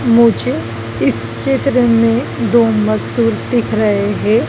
मुझे इस चित्र में दो मजदूर दिख रहे हैं।